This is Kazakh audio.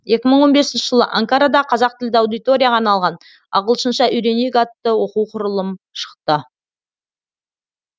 екі мың он бесінші жылы анкарада қазақ тілді аудиторияға арналған ағылшынша үйренейік атты оқу құрылым шықты